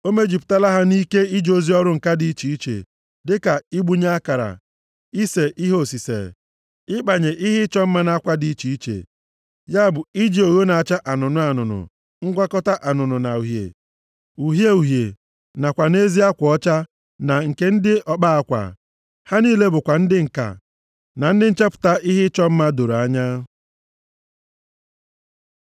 O mejupụtala ha nʼike ije ozi ọrụ ǹka dị iche iche, dịka igbunye akara, ise ihe osise, ịkpanye ihe ịchọ mma nʼakwa dị iche iche, ya bụ iji ogho na-acha anụnụ anụnụ, ngwakọta anụnụ na uhie, uhie uhie nakwa nʼezi akwa ọcha na nke ndị ọkpa akwa. Ha niile bụkwa ndị ǹka na ndị nchepụta ihe ịchọ mma doro anya.”